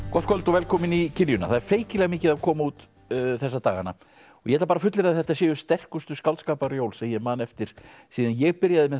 gott kvöld og velkomin í kiljuna það er feikilega mikið að koma út þessa dagana ég ætla að fullyrða að þetta séu sterkustu skáldskaparjól sem ég man eftir síðan ég byrjaði með